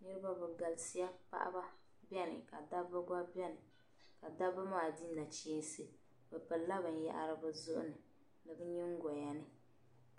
Niriba bi galisiya, paɣiba beni ka dabiba gba beni, ka dabiba maa di nachinsi, bɛ pili la binyɛra bɛ zuɣuni ,ni bɛ nyingɔya ni,